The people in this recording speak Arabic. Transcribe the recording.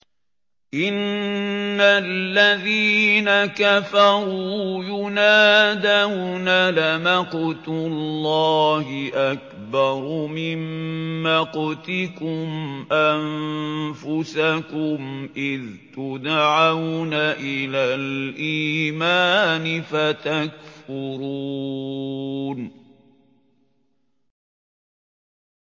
إِنَّ الَّذِينَ كَفَرُوا يُنَادَوْنَ لَمَقْتُ اللَّهِ أَكْبَرُ مِن مَّقْتِكُمْ أَنفُسَكُمْ إِذْ تُدْعَوْنَ إِلَى الْإِيمَانِ فَتَكْفُرُونَ